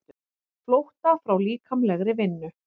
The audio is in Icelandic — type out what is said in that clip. Flótta frá líkamlegri vinnu.